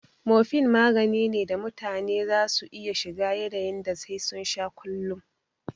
Morphine magani ne da mutane za su iya shiga yanin da sai sun sha kullun